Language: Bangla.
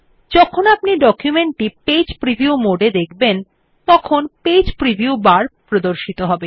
যখন আপনি ডকুমেন্টটি পেজ প্রিভিউ মোডে দেখবেন তখন পেজ প্রিভিউ বার প্রদর্শিত হবে